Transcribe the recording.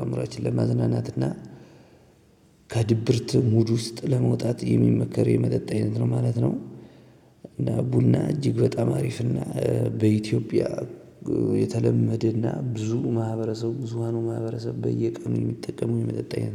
አእምሮአችንን ለማዝናናትና ከድብርት ሙድ ውስጥ ለመውጣት የሚመከር የመጠጥ አይነት ነው ማለት ነው። እና ቡና እጅግ በጣም አሪፍ እና በኢትዮጵያ የተለመደና ብዙ ማህበረሰብ ብዙሃኑ ማህበረሰብ በየቀኑ የሚጠቀሙት የመጠጥ አይነት ነው